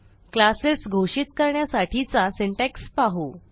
classes घोषित करण्यासाठीचा syntax पाहू